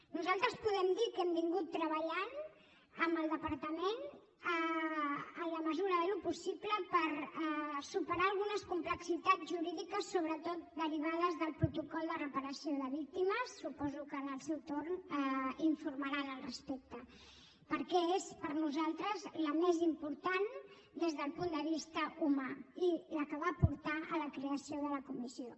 nosaltres podem dir que hem treballat amb el departament en la mesura del possible per superar algunes complexitats jurídiques sobretot derivades del protocol de reparació de víctimes suposo que en el seu torn informaran al respecte perquè és per a nosaltres la més important des del punt de vista humà i la que va portar a la creació de la comissió